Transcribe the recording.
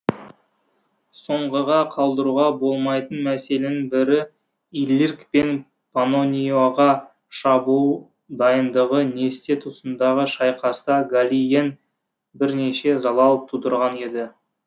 соңғыға қалдыруға болмайтын мәселен бірі иллирк пен паннониоға шабуыл дайындығы несте тұсындағы шайқаста галлиен бірнеше залал тудырған еді